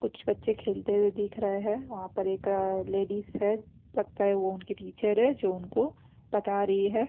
कुछ बच्चे खेलते हुए दिख रहे हैं वहाँ पर अ एक लेडीज है लगता है वो उनकी टीचर है जो उनको पता रही है।